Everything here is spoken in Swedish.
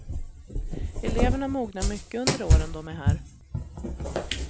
Eleverna mognar mycket under åren de är här.